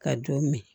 Ka don min